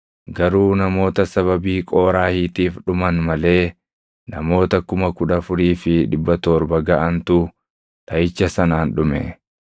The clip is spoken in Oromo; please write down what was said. Garuu namoota sababii Qooraahiitiif dhuman malee namoota 14,700 gaʼantu dhaʼicha sanaan dhume.